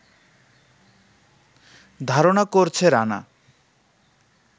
ধারণা করছে রানা